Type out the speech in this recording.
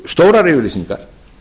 stórar yfirlýsingar